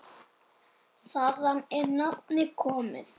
Þaðan er nafnið komið.